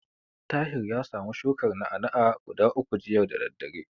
Tahir ya samu shukar na'a-na'a guda uku jiya da daddare.